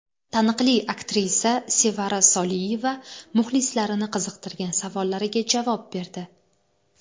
Taniqli aktrisa Sevara Soliyeva muxlislarini qiziqtirgan savollariga javob berdi.